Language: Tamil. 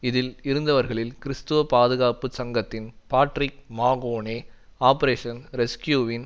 இதில் இருந்தவர்களில் கிறிஸ்துவ பாதுகாப்பு சங்கத்தின் பாட்ரிக் மகோனே ஆபரேஷன் ரெஸ்க்யூவின்